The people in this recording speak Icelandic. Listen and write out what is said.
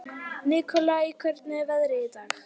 Nikolai, hvernig er veðrið í dag?